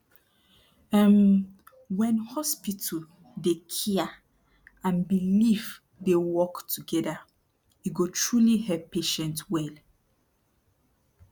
um wen hospital dey cia and belief dey work togeda e go truli help patient well